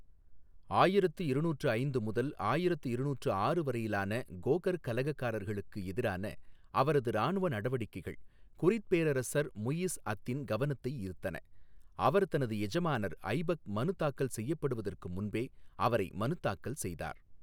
ஆயிரத்து இருநூற்று ஐந்து முதல் ஆயிரத்து இருநூற்று ஆறு வரையிலான கோகர் கலகக்காரர்களுக்கு எதிரான அவரது இராணுவ நடவடிக்கைகள் குரித் பேரரசர் முஇஸ் அத்தின் கவனத்தை ஈர்த்தன, அவர் தனது எஜமானர் ஐபக் மனு தாக்கல் செய்யப்படுவதற்கு முன்பே அவரை மனுதாக்கல் செய்தார்.